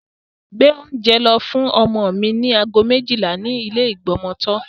Gbé oúnjẹ lọ fún ọmọ mi ní aago méjìlá ní ilé ìgbọmọtọ́.